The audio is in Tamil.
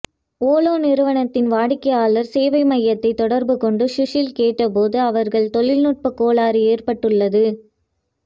ஓலா நிறுவனத்தின் வாடிக்கையாளர் சேவை மையத்தை தொடர்பு கொண்டு சுஷில் கேட்டபோது அவர்கள் தொழில்நுட்ப கோளாறு ஏற்பட்டுள்ளது